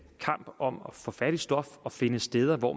kamp om at få fat i stof og finde steder hvor